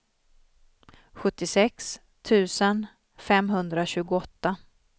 sjuttiosex tusen femhundratjugoåtta